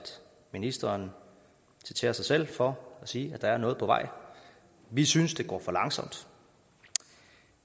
ministeren citerer sig selv for at sige at der er noget på vej vi synes det går for langsomt